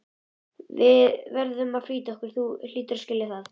Við verðum að flýta okkur, þú hlýtur að skilja það.